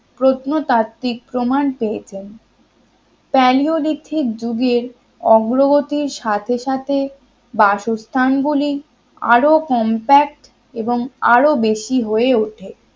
প্রত্নতাত্ত্বিক প্রমাণ পেয়েছেন প্যালিওলিথিক যুগের অগ্রগতির সাথে সাথে বাসস্থান গুলি আরো compact এবং আরো বেশি হয়ে ওঠে